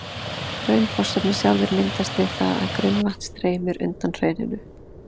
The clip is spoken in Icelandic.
Hraunfossarnir sjálfir myndast við það að grunnvatn streymir undan hrauninu.